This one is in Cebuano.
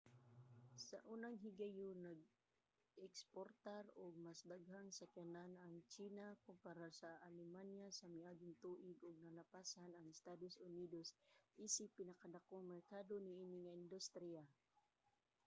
sa unang higayon nag-eksportar og mas daghang sakyanan ang tsina kompara sa alemanya sa miaging tuig ug nalapasan ang estados unidos isip pinakadakong merkado niini nga industriya